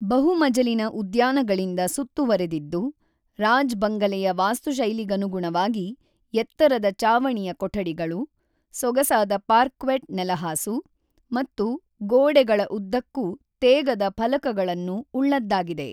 ಬಹು-ಮಜಲಿನ ಉದ್ಯಾನಗಳಿಂದ ಸುತ್ತುವರೆದಿದ್ದು, ರಾಜ್ ಬಂಗಲೆಯ ವಾಸ್ತುಶೈಲಿಗನುಗುಣವಾಗಿ, ಎತ್ತರದ ಚಾವಣಿಯ ಕೊಠಡಿಗಳು, ಸೊಗಸಾದ ಪಾರ್ಕ್ವೆಟ್ ನೆಲಹಾಸು ಮತ್ತು ಗೋಡೆಗಳ ಉದ್ದಕ್ಕೂ ತೇಗದ ಫಲಕಗಳನ್ನು ಉಳ್ಳದ್ದಾಗಿದೆ.